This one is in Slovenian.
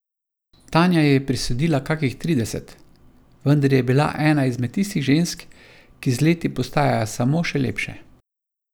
Tanja ji je prisodila kakih trideset, vendar je bila ena izmed tistih žensk, ki z leti postajajo samo še lepše.